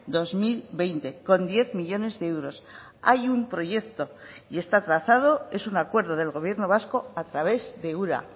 dos mil veinte con diez millónes de euros hay un proyecto y está trazado es un acuerdo del gobierno vasco a través de ura